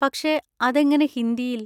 പക്ഷെ അതെങ്ങനെ ഹിന്ദിയിൽ?